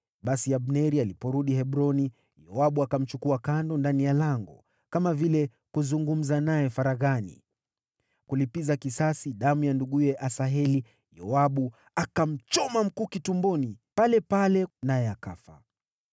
Basi Abneri aliporudi Hebroni, Yoabu akamchukua kando ndani ya lango, kama vile kuzungumza naye faraghani. Ili kulipiza kisasi damu ya nduguye Asaheli, Yoabu akamchoma mkuki tumboni palepale, naye akafa.